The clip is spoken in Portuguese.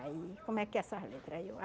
Aí, como é que é essas letra? Aí eu